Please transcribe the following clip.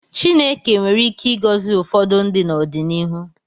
Chineke nwere ike ịgọzi ụfọdụ ndị n’ọdịnihu.